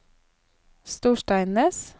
Storsteinnes